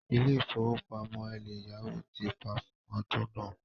Ilé ìfowópamọ́ eleyawo ti pa fún ọdún náà.